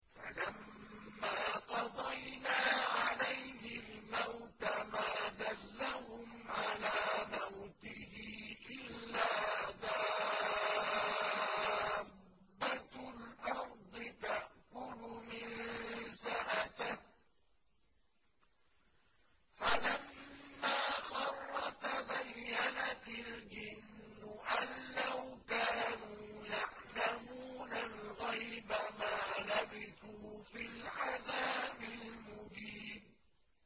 فَلَمَّا قَضَيْنَا عَلَيْهِ الْمَوْتَ مَا دَلَّهُمْ عَلَىٰ مَوْتِهِ إِلَّا دَابَّةُ الْأَرْضِ تَأْكُلُ مِنسَأَتَهُ ۖ فَلَمَّا خَرَّ تَبَيَّنَتِ الْجِنُّ أَن لَّوْ كَانُوا يَعْلَمُونَ الْغَيْبَ مَا لَبِثُوا فِي الْعَذَابِ الْمُهِينِ